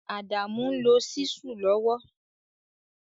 Adamu n lo Ṣísù lowo